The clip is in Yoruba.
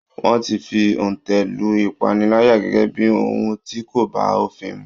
Wọ́n ti fi òǹtẹ̀ lu Ìpànìyàn gẹ́gẹ́ bí ohùn tí kò bá òfin mu.